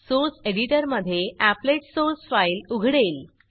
source एडिटरमधे applet applet source file उघडेल